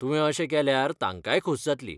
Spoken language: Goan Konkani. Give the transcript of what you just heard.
तुवें अशें केल्यार तांकांय खोस जातली.